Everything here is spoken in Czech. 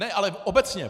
Ne, ale obecně.